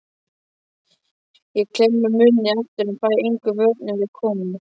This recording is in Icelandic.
Ég klemmi munninn aftur en fæ engum vörnum við komið.